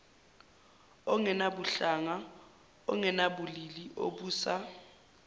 ongenabuhlanga ongenabulili obusa